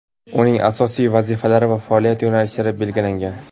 uning asosiy vazifalari va faoliyat yo‘nalishlari belgilangan.